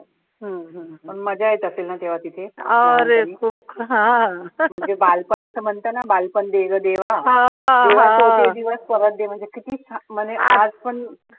पण मज्जा येत असेल ना तेव्हा तिथे म्हणजे बालपण असं म्हणतं ना बालपण दे गं देवा देवा छोटे दिवस परत दे म्हणजे किती छान म्हणे आजपण